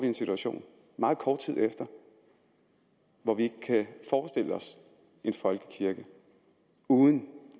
en situation meget kort tid efter hvor vi ikke kan forestille os en folkekirke uden